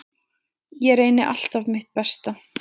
Ég reyni alltaf mitt besta.